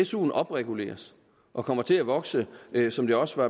suen opreguleres og kommer til at vokse som det også